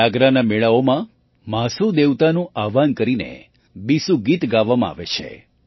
જાગરાના મેળાઓમાં મહાસૂ દેવતાનું આહ્વાહન કરીને બીસૂ ગીત ગાવામાં આવે છે